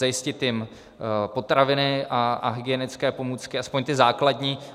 Zajistit jim potraviny a hygienické pomůcky, aspoň ty základní.